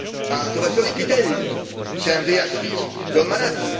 A towarzyszowi Pittelli chciałem wyjaśnić, że on ma rację.